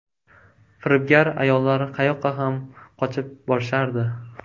Firibgar ayollar qayoqqa ham qochib borishardi.